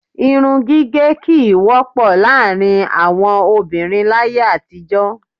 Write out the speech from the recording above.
Irun gíge kí í wọ́pọ̀ láàárín àwọn obìnrin láàyè àtijó.